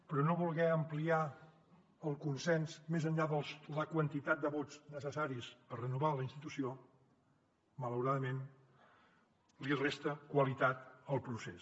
però no voler ampliar el consens més enllà de la quantitat de vots necessaris per renovar la institució malauradament li resta qualitat al procés